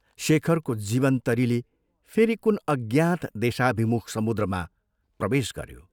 शेखरको जीवनतरीले फेरि कुन अज्ञात देशाभिमुख समुद्रमा प्रवेश गऱ्यो।